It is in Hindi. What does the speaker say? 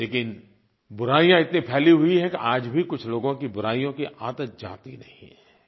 लेकिन बुराइयाँ इतनी फैली हुई हैं कि आज भी कुछ लोगों की बुराइयों की आदत जाती नहीं है